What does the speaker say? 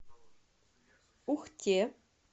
ухте